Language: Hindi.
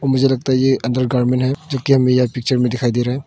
मुझे लगता है ये अंडरगारमेंट है जो कि हमें यह पिक्चर में दिखाई दे रहा है।